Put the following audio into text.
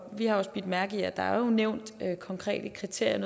har også bidt mærke i at der jo er nævnt konkrete kriterier